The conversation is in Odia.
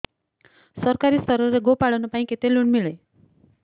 ସରକାରୀ ସ୍ତରରେ ଗୋ ପାଳନ ପାଇଁ କେତେ ଲୋନ୍ ମିଳେ